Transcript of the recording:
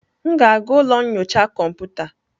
M ga-aga ụlọ nyocha kọmputa.